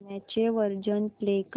गाण्याचे version play कर